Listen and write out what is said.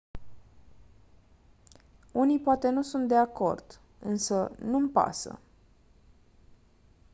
unii poate nu sunt de acord însă nu-mi pasă